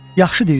Yaxşı deyirsən e.